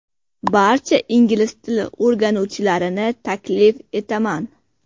Barcha ingliz tili o‘rganuvchilarini taklif etaman!